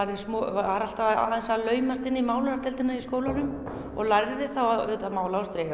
var alltaf að laumast inn í málaradeildina í skólanum og lærði þá auðvitað að mála á striga